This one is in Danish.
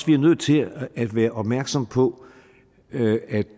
vi nødt til at være opmærksom på at